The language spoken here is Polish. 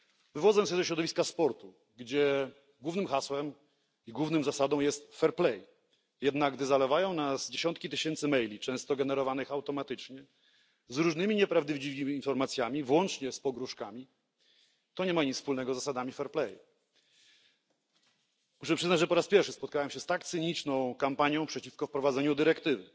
Wywodzę się ze środowiska sportu, gdzie głównym hasłem i główną zasadą jest fair play, jednak gdy zalewają nas dziesiątki tysięcy maili, często generowanych automatycznie, z różnymi nieprawdziwymi informacjami, włącznie z pogróżkami, to nie ma nic wspólnego z zasadami fair play. Muszę przyznać, że po raz pierwszy spotkałem się z tak cyniczną kampanią przeciwko wprowadzeniu dyrektywy.